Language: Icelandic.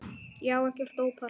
Ég á ekkert ópal